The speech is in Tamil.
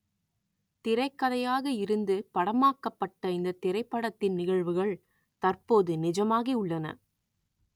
திரைக் கதையாக இருந்து படமாக்கப்பட்ட இந்த திரைப்படத்தின் நிகழ்வுகள் தற்போது நிஜமாகி உள்ளன